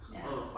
Ja